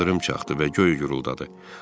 İldırım çaxdı və göy guruldadı.